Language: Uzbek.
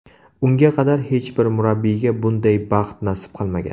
Unga qadar hech bir murabbiyga bunday baxt nasib qilmagan.